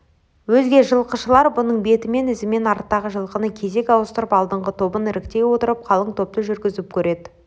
өзге жылқышылар бұның бетімен ізімен арттағы жылқыны кезек ауыстырып алдыңғы тобын іріктей отырып қалың топты жүргізіп көреді